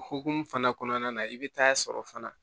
O hokumu fana kɔnɔna na i bɛ taa sɔrɔ fana